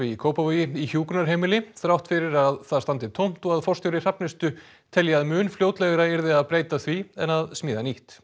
í Kópavogi í hjúkrunarheimili þrátt fyrir að það standi tómt og að forstjóri Hrafnistu telji að mun fljótlegra yrði að breyta því en að smíða nýtt